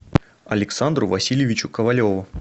александру васильевичу ковалеву